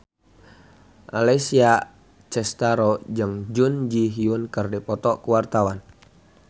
Alessia Cestaro jeung Jun Ji Hyun keur dipoto ku wartawan